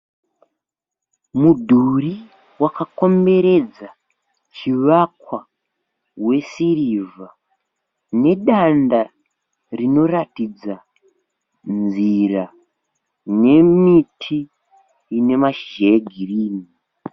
Mudhuri wakakomberedza chivakwa wesirivha nedanda rinoratidza nzira, nemiti inemashizha egirinhi.